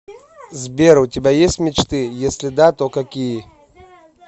сбер у тебя есть мечты если да то какие